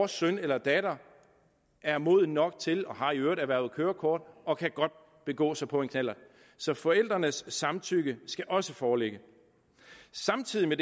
søn eller datter er moden nok til og har i øvrigt erhvervet kørekort og kan godt begå sig på en knallert så forældrenes samtykke skal også foreligge samtidig med